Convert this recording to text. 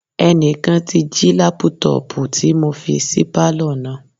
Ẹnìkan ti jí lápútọ̀pù tí mo fi sí pálọ̀ náà